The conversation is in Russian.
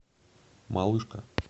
малышка